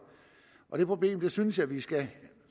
det problem synes jeg vi skulle